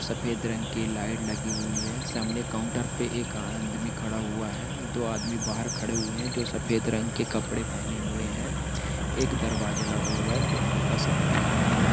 सफेद रंग के लाइट लगी हुई है सामने काउंटर पे एक आदमी खड़ा हुआ है दो आदमी बाहर खड़े हुए है जो सफेद रंग के कपड़े पहने हुए है एक दरवाजा लगा हुआ है जो हल्का सा खुला हुआ है।